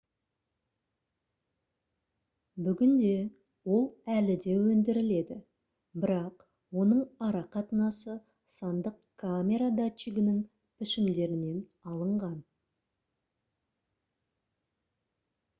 бүгінде ол әлі де өндіріледі бірақ оның арақатынасы сандық камера датчигінің пішімдерінен алынған